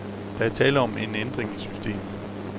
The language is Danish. Der er tale om en ændring i systemet.